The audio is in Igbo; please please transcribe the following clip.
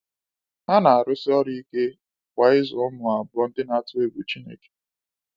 Ha na-arụsi ọrụ ike kwa ịzụ ụmụ abụọ ndị na-atụ egwu Chineke.